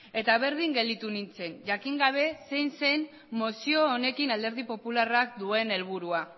eta berdin gelditu nintzen jakin gabe zein zen mozioa honekin alderdi popularrak duen helburua